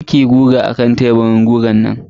kar kiyi guga akan teburin gugan nan.